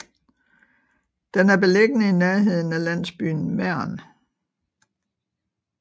Den er beliggende i nærheden af landsbyen Mern